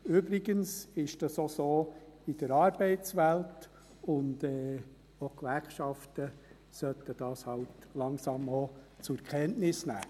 Übrigens ist das auch so in der Arbeitswelt, und auch die Gewerkschaften sollten das halt langsam zur Kenntnis nehmen.